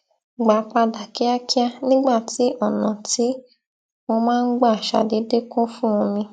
gbà padà kíákíá nígbà tí ònà tí mo máa ń gbà ṣàdédé kún fún omi